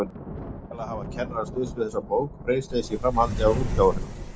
Væntanlega hafa kennarar stuðst við þessa bók Freysteins í framhaldi af útgáfu hennar.